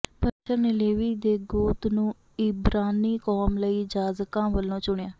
ਪਰਮੇਸ਼ੁਰ ਨੇ ਲੇਵੀ ਦੇ ਗੋਤ ਨੂੰ ਇਬਰਾਨੀ ਕੌਮ ਲਈ ਜਾਜਕਾਂ ਵਜੋਂ ਚੁਣਿਆ